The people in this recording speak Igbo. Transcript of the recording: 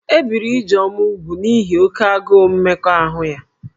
E biri Ijeoma úgwù n'ihi oke agụụ mmekọahụ ya